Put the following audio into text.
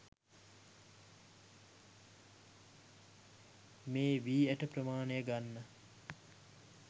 මේ වී ඇට ප්‍රමාණය ගන්න